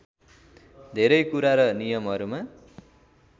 धेरै कुरा र नियमहरूमा